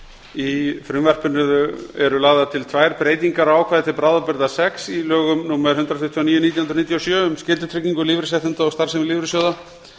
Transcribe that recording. í frumvarpinu eru lagðar til tvær breytingar á ákvæði til bráðabirgða sex í lögum númer hundrað tuttugu og níu nítján hundruð níutíu og sjö um skyldutryggingu lífeyrisréttinda og starfsemi lífeyrissjóða